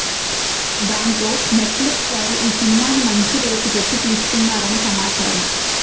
దాంతో Netflix వారు ఈ సినిమాని మంచి రేటు పెట్టి తీసుకున్నారని సమాచారం